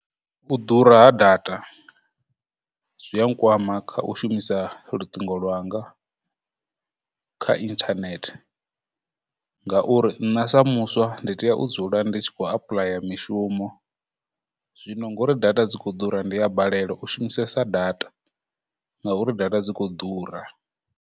U ḓura ha data zwi a nkwama kha u shumisa luṱingo lwanga kha internet, ngauri nṋe sa muswa ndi tea u dzula ndi tshi khou apuḽaya mishumo, zwino ngori data dzi khou ḓura, ndi a balelwa u shumisesa data, ngauri data dzi khou ḓura.